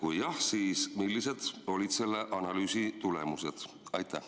Kui jah, siis millised olid selle analüüsi tulemused?